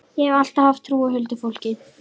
Ég hef alltaf haft trú á huldufólki.